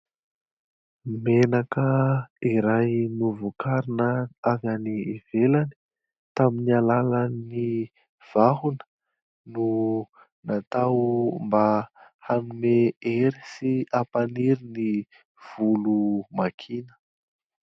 Menaka iray novokarina avy any ivelany tamin'ny alalan'ny vahona no natao mba hanome hery sy hampaniry ny volo makiana.